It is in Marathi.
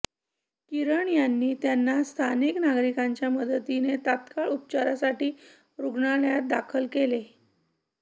किरण यांनी त्यांना स्थानिक नागरिकांच्या मदतीने तात्काळ उपचारासाठी रुग्णालयात दाखल केले